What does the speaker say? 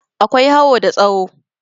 akwai hawo ta tsaho